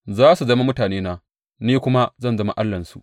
Za su zama mutanena, ni kuma zan zama Allahnsu.